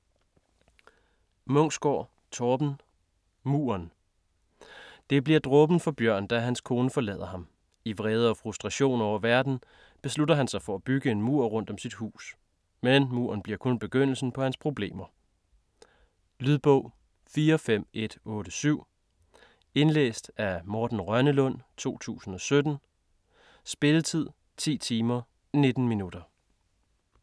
Munksgaard, Torben: Muren Det bliver dråben for Bjørn da hans kone forlader ham. I vrede og frustration over verden beslutter han sig for at bygge en mur rundt om sit hus. Men muren bliver kun begyndelsen på hans problemer. Lydbog 45187 Indlæst af Morten Rønnelund, 2017. Spilletid: 10 timer, 19 minutter.